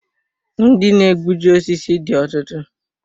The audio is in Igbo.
Ndị na egbuji osisi dị ọtụtụ